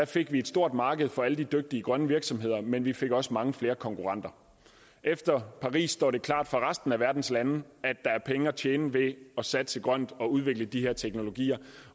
fik vi et stort marked for alle de dygtige grønne virksomheder men vi fik også mange flere konkurrenter efter paris står det klart for resten af verdens lande at der er penge at tjene ved at satse grønt og udvikle de her teknologier